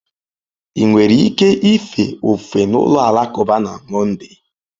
Ị nwere ike ife ofufe n'ụlọ alakụba na Monday?